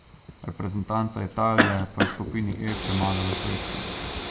Reprezentanca Italije pa je v skupini E premagala Švedsko.